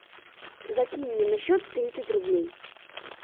закинь мне на счет тридцать рублей